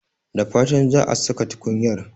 Da fatan za a saka tukunyar.